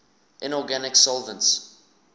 inorganic solvents